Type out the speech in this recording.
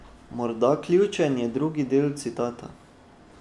Morda ključen je drugi del citata.